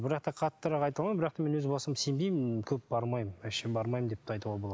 бірақ та қаттырақ айта алмаймын бірақ мен өз басым сенбеймін көп бармаймын вообще бармаймын деп те айтуға болады